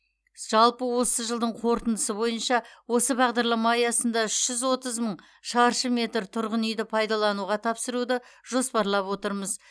жалпы осы жылдың қорытындысы бойынша осы бағдарлама аясында үш жүз отыз мың шаршы метр тұрғын үйді пайдалануға тапсыруды жоспарлап отырмыз